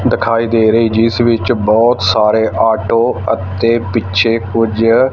ਦਿਖਾਈ ਦੇ ਰਹੇ ਜਿਸ ਵਿੱਚ ਬਹੁਤ ਸਾਰੇ ਆਟੋ ਅਤੇ ਪਿੱਛੇ ਕੁਝ।